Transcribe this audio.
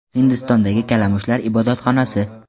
Hindistondagi kalamushlar ibodatxonasi.